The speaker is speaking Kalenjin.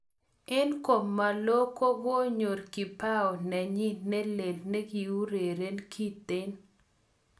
En komalo kokoyor kibao nenyin ne lee nekikuren kiten